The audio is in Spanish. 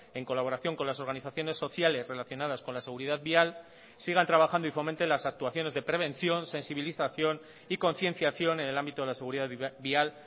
en colaboración con las organizaciones sociales relacionadas con la seguridad vial sigan trabajando y fomenten las actuaciones de prevención sensibilización y concienciación en el ámbito de la seguridad vial